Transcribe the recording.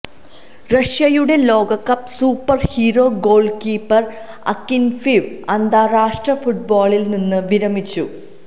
റഷ്യയുടെ ലോകകപ്പ് superhero goalkeeper Akinfeev അന്താരാഷ്ട്ര ഫുട്ബോളില് നിന്നും വിരമിച്ചു